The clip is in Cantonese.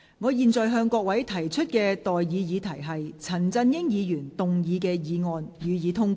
我現在向各位提出的待議議題是：陳振英議員動議的議案，予以通過。